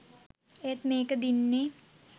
ඒත් මේක දින්නේ